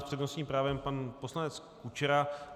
S přednostním právem pan poslanec Kučera.